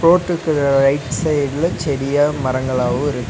Right சைடுல செடியா மரங்களாவு இருக்.